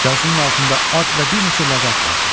Yazının altında at və bir neçə ləqəb vardı.